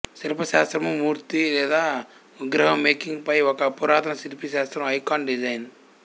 శిల్ప శాస్త్రము మూర్తి లేదా విగ్రహ మేకింగ్ పై ఒక పురాతన శిల్పా శాస్త్రం ఐకాన్ డిజైన్